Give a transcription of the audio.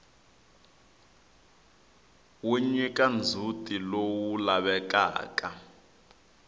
wu nyika ndzhutilowu lavekaka